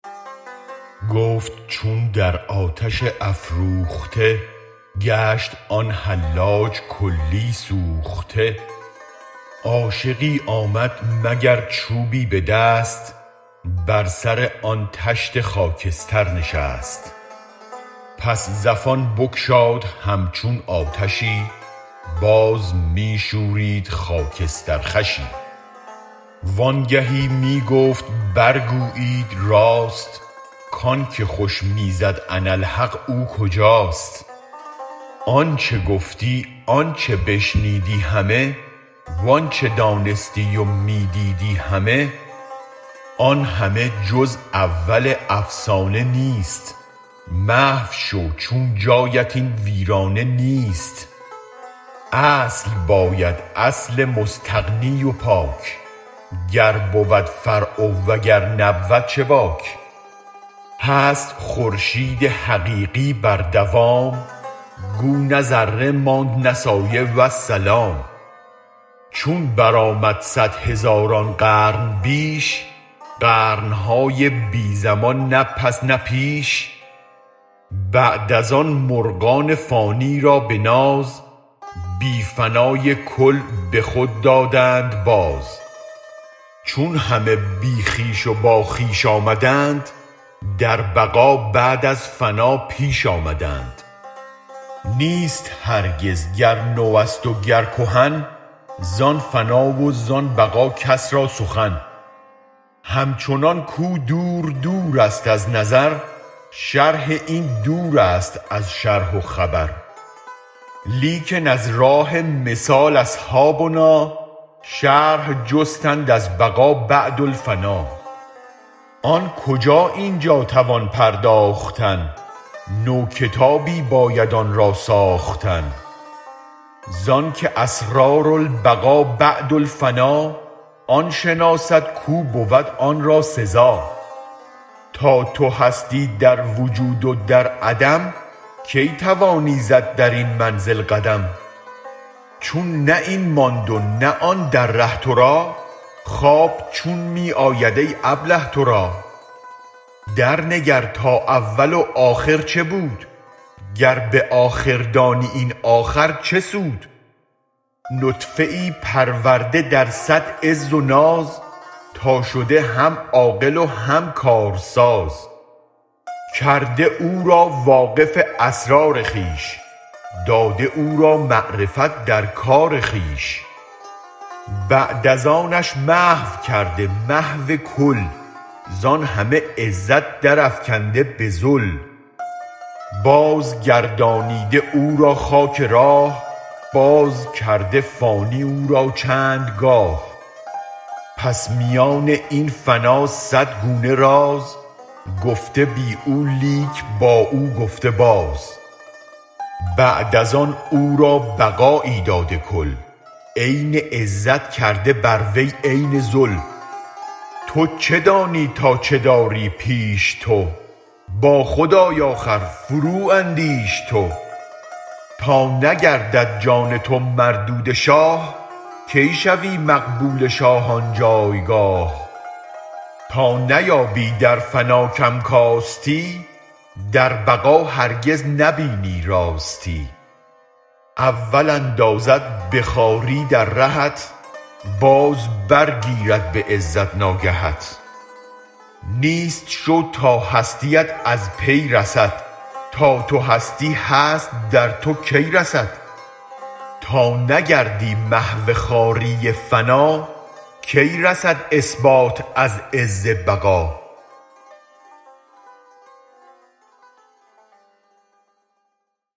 گفت چون در آتش افروخته گشت آن حلاج کلی سوخته عاشقی آمد مگر چوبی بدست بر سر آن طشت خاکستر نشست پس زفان بگشاد هم چون آتشی باز می شورید خاکستر خوشی وانگهی می گفت برگویید راست کانک خوش می زد انا الحق او کجاست آنچ گفتی آنچ بشنیدی همه وانچ دانستی و می دیدی همه آن همه جز اول افسانه نیست محو شو چون جایت این ویرانه نیست اصل باید اصل مستغنی و پاک گر بود فرع و اگر نبود چه باک هست خورشید حقیقی بر دوام گو نه ذره ماند نه سایه والسلام چون برآمد صد هزاران قرن بیش قرنهای بی زمان نه پس نه پیش بعد از آن مرغان فانی را بناز بی فنای کل به خود دادند باز چون همه بی خویش و با خویش آمدند در بقا بعد از فنا پیش آمدند نیست هرگز گر نوست و گر کهن زان فنا و زان بقا کس را سخن هم چنان کو دور دورست از نظر شرح این دورست از شرح و خبر لیکن از راه مثال اصحابنا شرح جستند از بقا بعد الفنا آن کجا اینجا توان پرداختن نو کتابی باید آن را ساختن زانک اسرار البقا بعد الفنا آن شناسد کو بود آنرا سزا تا تو هستی در وجود و در عدم کی توانی زد درین منزل قدم چون نه این ماند نه آن در ره ترا خواب چون می آید ای ابله ترا در نگر تا اول و آخر چه بود گر به آخر دانی این آخر چه سود نطفه پرورده در صد عز و ناز تا شده هم عاقل و هم کار ساز کرده او را واقف اسرار خویش داده او را معرفت در کار خویش بعد از آنش محو کرده محو کل زان همه عزت درافکنده بذل باز گردانیده او را خاک راه باز کرده فانی او را چندگاه پس میان این فنا صد گونه راز گفته بی او لیک با او گفته باز بعد از آن او را بقایی داده کل عین عزت کرده بر وی عین ذل تو چه دانی تا چه داری پیش تو با خود آی آخر فرواندیش تو تا نگردد جان تو مردود شاه کی شوی مقبول شاه آن جایگاه تا نیابی در فنا کم کاستی در بقا هرگز نبینی راستی اول اندازد بخواری در رهت باز برگیرد به عزت ناگهت نیست شو تا هستیت از پی رسد تا تو هستی هست در تو کی رسد تا نگردی محو خواری فنا کی رسد اثبات از عز بقا